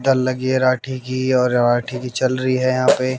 डल लगी है राठी की और राठी की चल रही है यहां पे।